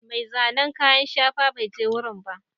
Mai zanen kayan shafa bai je wurin ba.